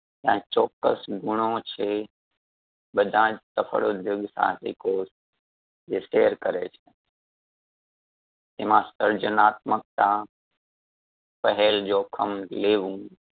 ત્યાં ચોક્કસ ગુણો છે બધાજ સફળ ઉધ્યોગ સાહસિકો જે share કરે છે. એમાં સર્જનાત્મકતા, પહેલ જોખમ લેવું,